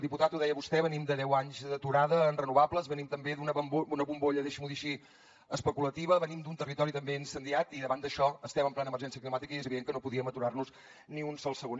diputat ho deia vostè venim de deu anys d’aturada en renovables venim també d’una bombolla deixi’m ho dir així especulativa venim d’un territori també incendiat i davant d’això estem en plena emergència climàtica i és evident que no podíem aturar nos ni un sol segon